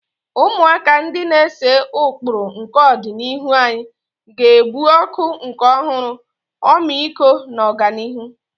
Ụmụaka, ndị na-ese ụkpụrụ nke ọdịnihu anyị, ga-ebu ọkụ nke ọhụrụ, ọmịiko na ọganihu.